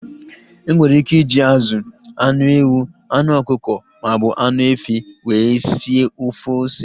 Enwere ike iji azụ, anụ ewu, anụ ọkụkọ maọbụ anụ efi wee sie ofe ose